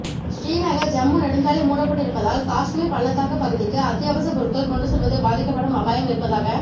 ஸ்ரீநகர் ஜம்மு நெடுஞ்சாலை மூடப்பட்டிருப்பதால் காஷ்மீர் பள்ளத்தாக்கு பகுதிக்கு அத்தியாவசிப் பொருள்கள் கொண்டுசெல்வது பாதிக்கப்படும் அபாயம் இருப்பதாக